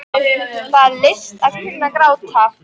Það er list að kunna að gráta.